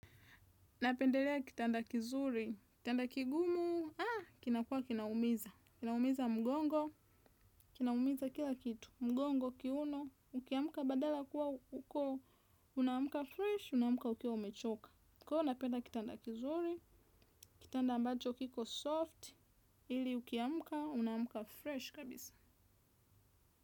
Napendelea kitanda kizuri, kitanda kigumu, ah, kinakuwa kinaumiza, kinaumiza mgongo, kinaumiza kila kitu, mgongo, kiuno, ukiamka badala ya kuwa uko, unaamka fresh, unaamka ukiwa umechoka. Kwa hiyo napenda kitanda kizuri, kitanda ambacho kiko soft, ili ukiamka, unaamka fresh kabisa.